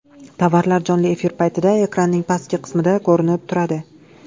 Tovarlar jonli efir paytida ekranning pastki qismida ko‘rinib turadi.